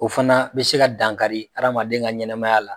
O fana bɛ se ka dan kari hadamaden ka ɲɛnamaya la.